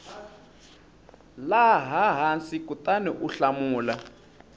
laha hansi kutani u hlamula